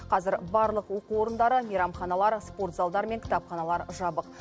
қазір барлық оқу орындары мейрамханалар спортзалдар мен кітапханалар жабық